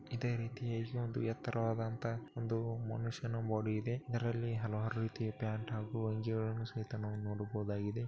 ಇದೆ ರೀತಿ ಇಲ್ಲಿ ಒಂದು ಎತ್ತರವಾದಂತಹ ಒಂದು ಮನುಷ್ಯನ ಬಾಡಿ ಇದೆ ಇದರಲ್ಲಿ ಹಲವಾರು ರೀತಿ ಪ್ಯಾಂಟ್ ಹಾಗೂ ಅಂಗಿಗಲ್ಲನು ಸಹಿತ ನಾವು ನೋಡಬಹುದಾಗಿದೆ.